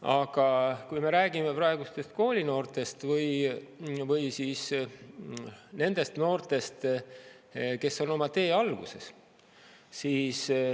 Aga räägime praegustest koolinoortest või siis nendest noortest, kes on oma tee alguses.